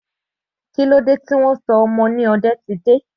Kílódé tí wọn sọ ọmọ ni Odetide?